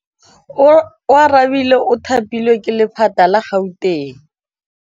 Oarabile o thapilwe ke lephata la Gauteng.